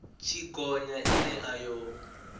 tshi gonya ine a yo